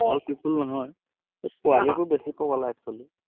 all people নহয়, এই পোৱালীবোৰ বেছি পগলা actually